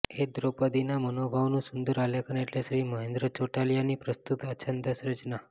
એ જ દ્રૌપદીના મનોભાવોનું સુંદર આલેખન એટલે શ્રી મહેન્દ્ર ચોટલિયાની પ્રસ્તુત અછાંદસ રચના